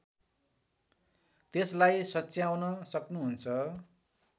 त्यसलाई सच्याउन सक्नुहुन्छ